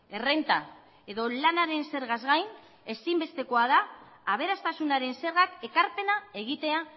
errenta edo lanaren zergaz gain ezinbestekoa da aberastasunaren zergak ekarpena egitea